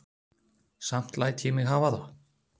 Samt læt ég mig hafa það.